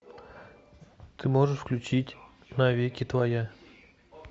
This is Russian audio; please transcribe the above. ты можешь включить навеки твоя